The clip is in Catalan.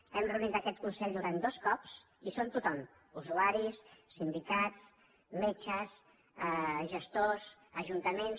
hem reunit aquest consell durant dos cops hi som tothom usuaris sindicats metges gestors ajuntaments